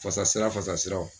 Fasa sira fasa siraw.